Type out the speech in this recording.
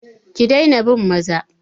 Ki daina bin maza!